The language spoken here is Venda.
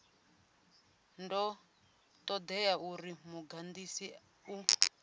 do todea uri mudagasi u